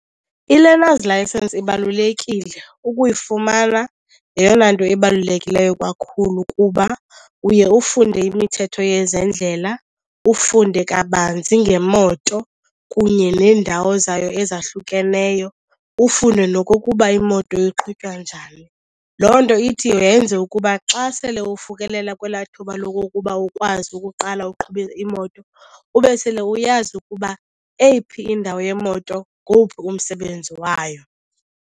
I-learner's license ibalulekile, ukuyifumana yeyona nto ebalulekileyo kakhulu kuba uye ufunde imithetho yezendlela, ufunde kabanzi ngemoto kunye neendawo zayo ezahlukeneyo, ufunde nokokuba imoto iqhutywa njani. Loo nto ithi yenze ukuba xa sele ufikelela kwelaa thuba lokokuba ukwazi ukuqala uqhube imoto ube sele uyazi ukuba eyiphi indawo yemoto ngowuphi umsebenzi wayo.